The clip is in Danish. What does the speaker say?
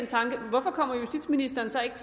tanke hvorfor kommer justitsministeren så ikke